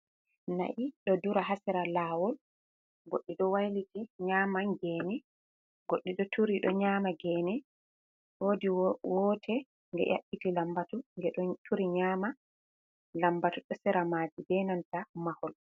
Na'i ɗo dura ha sera lawol, goɗɗi ɗo wailiti nyama gene, goɗɗi ɗo turi ɗo nyama gene, wodi woto nge yaɓɓiti lambatu nge ɗo turi nyama, lambatu do sera maaji be nanta mahol.